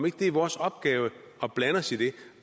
ikke er vores opgave at blande os i det